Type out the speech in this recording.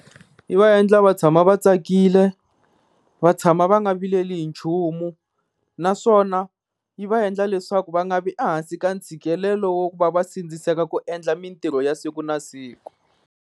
Yi va endla va tshama va tsakile, va tshama va nga vileli hi nchumu, naswona yi va endla leswaku va nga vi a hansi ka ntshikelelo wa ku va va sindziseka ku endla mintirho ya siku na siku.